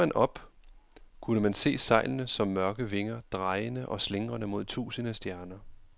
Så man op, kunne man se sejlene som mørke vinger, drejende og slingrende mod tusinde stjerner.